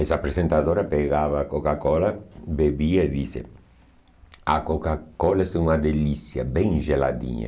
Essa apresentadora pegava a Coca-Cola, bebia e dizia, a Coca-Cola é uma delícia, bem geladinha.